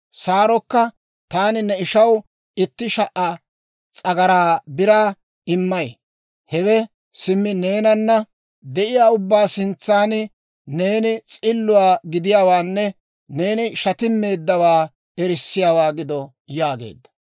Saarokka, «Taani ne ishaw itti sha"a s'agaraa biraa immay; hawe simmi neenana de'iyaa ubbaa sintsan neeni s'illatto gidiyaawaanne neeni shatimmeeddawaa erissiyaawaa gido» yaageedda.